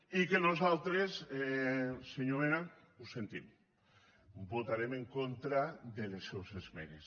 i nosaltres senyor mena ho sentim votarem en contra de les seues esmenes